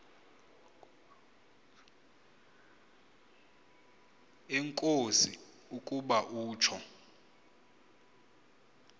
enkosi ukuba utsho